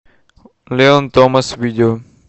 леон томас видео